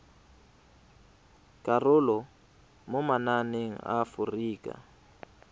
karolo mo mananeng a aforika